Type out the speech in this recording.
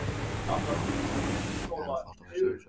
Í grófum dráttum erum við líka enn að fást við sömu spurningar.